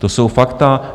To jsou fakta.